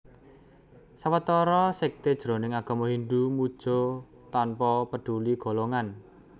Sawetara sékté jroning agama Hindhu muja tanpa peduli golongan